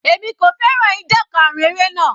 Èmi kò fẹ́ràn ìdan karun eré yẹn.